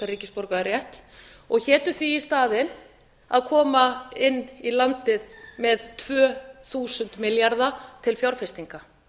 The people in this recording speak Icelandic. ríkisborgararétt og hétu því í staðinn að koma inn í landið með tvö þúsund milljarða til fjárfestinga